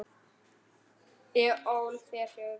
Ég ól þér fjögur börn.